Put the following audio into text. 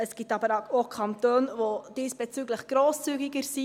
Es gibt aber auch Kantone, die diesbezüglich grosszügiger sind.